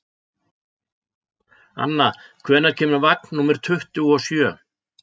Anna, hvenær kemur vagn númer tuttugu og sjö?